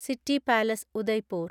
city palace (Udaipur)